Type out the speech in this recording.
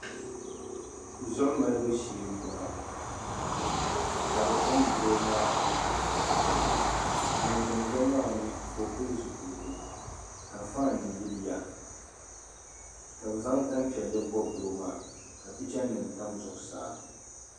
Zuɣu malibu shee n boŋo ka bi pindi doo maa koli koli ŋun pindo maa mii ka o pili zipiligu ka faan yiliya ka bi zaŋ tanpiɛlli bobi doo maa ka picha nim tabi zuɣusaa